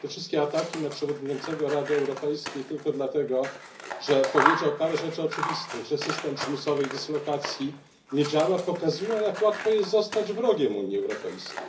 Te wszystkie ataki na przewodniczącego Rady Europejskiej tylko dlatego, że powiedział parę rzeczy oczywistych, że system przymusowej dyslokacji nie działa, pokazują jak łatwo jest zostać wrogiem Unii Europejskiej.